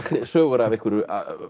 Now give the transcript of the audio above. sögur af einhverju